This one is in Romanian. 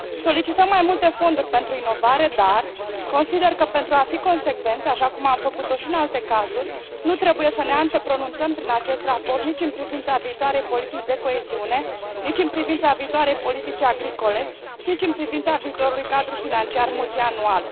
Solicităm mai multe fonduri pentru inovare, dar consider că, pentru a fi consecvenți, așa cum am făcut o și în alte cazuri, nu trebuie să ne antepronunțăm prin acest raport nici în privința viitoarei politici de coeziune, nici în privința viitoarei politici agricole și nici în privința viitorului cadru financiar multianual.